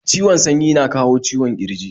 Ciwon sanyi na kawo ciwon ƙirji